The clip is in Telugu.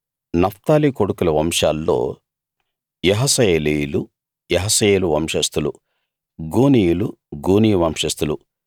నఫ్తాలీ కొడుకుల వంశాల్లో యహసయేలీయులు యహసయేలు వంశస్థులు గూనీయులు గూనీ వంశస్థులు